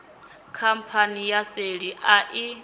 khamphani ya seli a i